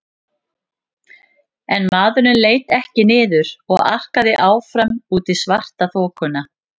En maðurinn leit ekki niður og arkaði áfram út í svartaþokuna.